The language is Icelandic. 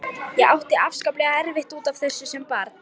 Ég átti afskaplega erfitt út af þessu sem barn.